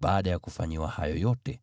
Baada ya kufanyiwa hayo yote,